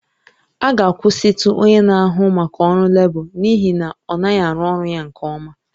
A ga-akwụsịtụ onye na-ahụ maka ọrụ lebọ n'ihi na ọ naghị arụ ọrụ ya nke ọma